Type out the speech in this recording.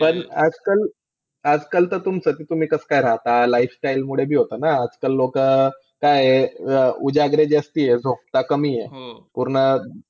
प पण आजकाल, पण आजकाल तुम्ही कशी काय राहता? lifestyle मुळे बी होतं ना? हा आजकाल लोकं, काय आहे ते उ जागरण जास्ती आहे. झोपता कमी आहे. त्यामुळे